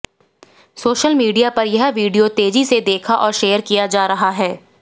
social media पर यह video तेजी से देखा और शेयर किया जा रहा है